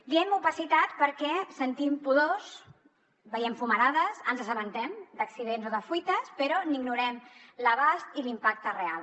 diem opacitat perquè sentim pudors veiem fumarades ens assabentem d’accidents o de fuites però n’ignorem l’abast i l’impacte real